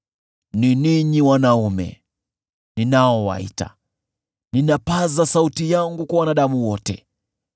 “Ni ninyi wanaume, ninaowaita; ninapaza sauti yangu kwa wanadamu wote.